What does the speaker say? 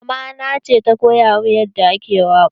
Mama na ce ta koya min yadda ake waƙa.